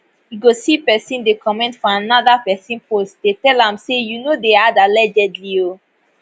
you go see pesin dey comment for anoda pesin post dey tell am say you no dey add allegedly oh